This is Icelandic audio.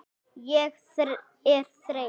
Ég er þreytt.